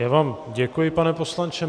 Já vám děkuji, pane poslanče.